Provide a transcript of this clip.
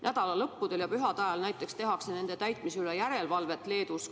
Nädalalõppudel ja pühade ajal tehakse Leedus järelevalvet reeglite täitmise üle.